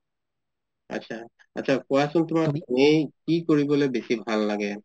আতচা কুৱাচোন তুমাৰ এনে কি কৰিবলৈ বেচি ভাল লাগে?